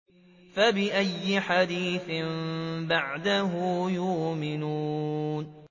فَبِأَيِّ حَدِيثٍ بَعْدَهُ يُؤْمِنُونَ